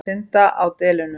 Að synda á delunum.